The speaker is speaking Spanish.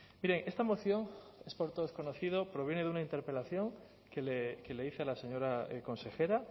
mire esta moción es por todos conocido proviene de una interpelación que le hice a la señora consejera